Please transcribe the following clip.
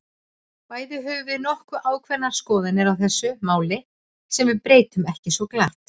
Bæði höfum við nokkuð ákveðnar skoðanir á þessu máli, sem við breytum ekki svo glatt.